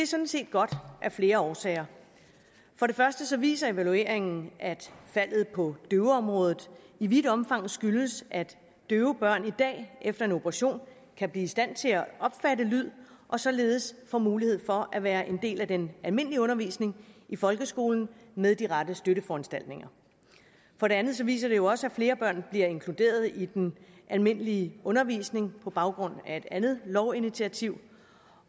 sådan set godt af flere årsager for det første viser evalueringen at faldet på døveområdet i vidt omfang skyldes at døve børn i dag efter en operation kan blive i stand til at opfatte lyd og således få mulighed for at være en del af den almindelige undervisning i folkeskolen med de rette støtteforanstaltninger for det andet viser den jo også at flere børn bliver inkluderet i den almindelige undervisning på baggrund af et andet lovinitiativ